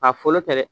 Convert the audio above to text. K'a fɔlɔ tɛ dɛ